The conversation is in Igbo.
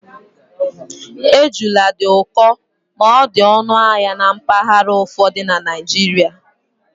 Ejula dị ụkọ ma dị ọnụ ahịa na mpaghara ụfọdụ na Naịjirịa